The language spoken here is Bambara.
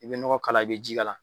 I be ɲɔgɔ k'ala i be ji k'ala